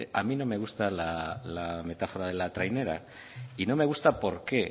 a mí no me gusta la metáfora de la trainera y no me gusta por qué